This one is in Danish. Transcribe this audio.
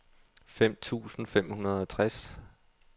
fem tusind fem hundrede og tres